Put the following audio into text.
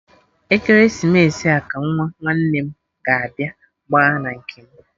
Ekeresimesi a ka Nwa nwanne m ga-abịa gba na nke m